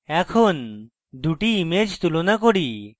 এখন দুটি ইমেজ তুলনা করি